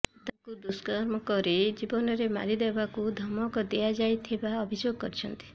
ତାଙ୍କୁ ଦୁଷ୍କର୍ମ କରି ଜୀବନରେ ମାରି ଦେବାକୁ ଧମକ ଦିଆଯାଇଥିବା ଅଭିଯୋଗ କରିଛନ୍ତି